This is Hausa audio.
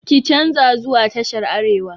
Ki canza zuwa tashar arewa!